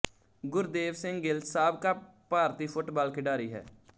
ਗੁਰਦੇਵ ਸਿੰਘ ਗਿੱਲ ਸਾਬਕਾ ਭਾਰਤੀ ਫੁੱਟਬਾਲ ਖਿਡਾਰੀ ਹੈ